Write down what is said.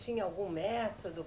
Tinha algum método?